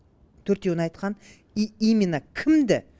төртеуін айтқан и именно кімді